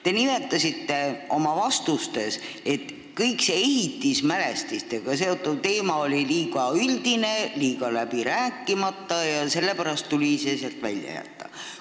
Te nimetasite oma vastustes, et kõik see ehitismälestistega seotud teema oli liiga üldine ja läbi rääkimata ning sellepärast tuli see sealt välja jätta.